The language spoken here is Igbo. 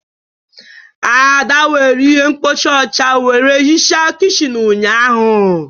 Ada were ihe mkpocha ọcha were hichaa kichin ụnyahụ.